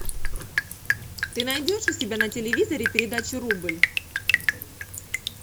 ты найдешь у себя на телевизоре передачу рубль